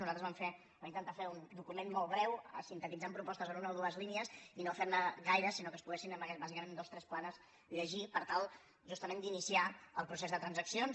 nosaltres vam fer vam intentar fer un document molt breu sintetitzant propostes en una o dues línies i no fer ne gaires sinó que es poguessin bàsicament en dues tres planes llegir per tal justament d’iniciar el procés de transaccions